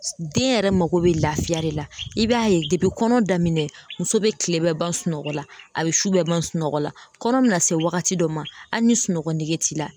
Den yɛrɛ mago bɛ laafiya de la i b'a ye depi kɔnɔ daminɛ muso bɛ kile bɛɛ ban sunɔgɔ la a bɛ su bɛɛ ban sunɔgɔ la kɔnɔ bɛ na se wagati dɔ ma hali ni sunɔgɔ nɛgɛ t'i la